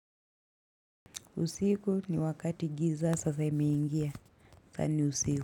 Usiku ni wakati giza sasa imeingia. Saa ni usiku.